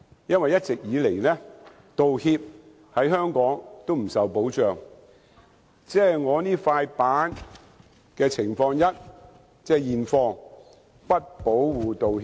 因為一直以來，道歉在香港不受保障，即如我手上這塊板子的情況一：現況是不保護道歉的。